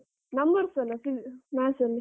Numbers ಅಲ್ಲ maths ಅಲ್ಲಿ.